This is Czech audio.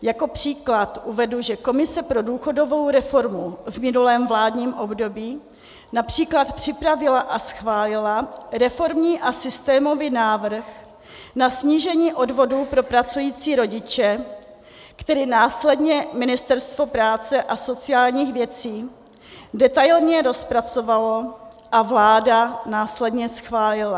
Jako příklad uvedu, že komise pro důchodovou reformu v minulém vládním období například připravila a schválila reformní a systémový návrh na snížení odvodů pro pracující rodiče, který následně Ministerstvo práce a sociálních věcí detailně rozpracovalo a vláda následně schválila.